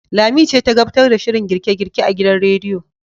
Lami ce ta gabtar da shirin girke-girke a gidan radiyon.